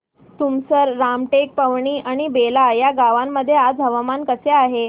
तुमसर रामटेक पवनी आणि बेला या गावांमध्ये आज हवामान कसे आहे